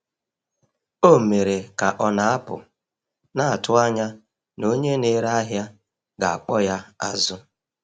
Ọ mere ka ọ na-apụ, na-atụ anya na onye na-ere ahịa ga-akpọ ya azụ.